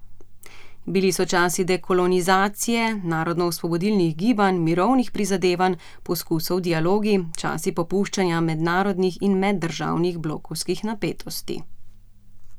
Bili so časi dekolonizacije, narodnoosvobodilnih gibanj, mirovnih prizadevanj, poskusov dialoga, časi popuščanja mednarodnih in meddržavnih blokovskih napetosti...